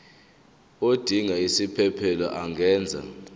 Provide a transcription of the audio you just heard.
odinga isiphesphelo angenza